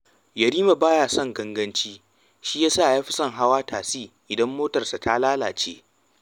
Yarima ba ya son ganaganci, shi ya sa ya fi son hawa tasi idan motarsa ta lallace